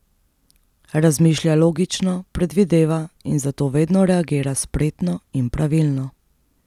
Razmišlja logično, predvideva in zato vedno reagira spretno in pravilno.